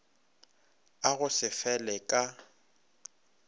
a go se fele ka